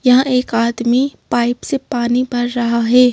यहां एक आदमी पाइप से पानी भर रहा है।